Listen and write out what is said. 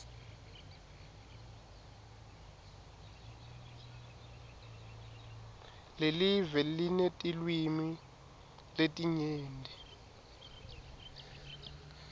lelive linetilwimi letinyenti